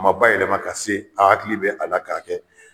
U ma bayɛlɛma ka se a hakili bɛ a la k'a kɛ